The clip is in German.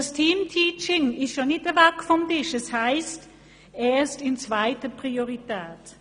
Das Teamteaching ist damit nicht weg vom Tisch, denn hier steht ja, «erst in zweiter Priorität».